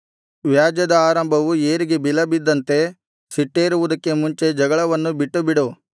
ವ್ಯಾಜ್ಯದ ಆರಂಭವು ಏರಿಗೆ ಬಿಲಬಿದ್ದಂತೆ ಸಿಟ್ಟೇರುವುದಕ್ಕೆ ಮುಂಚೆ ಜಗಳವನ್ನು ಬಿಟ್ಟುಬಿಡು